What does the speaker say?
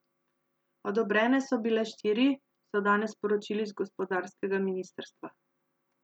Odobrene so bile štiri, so danes sporočili z gospodarskega ministrstva.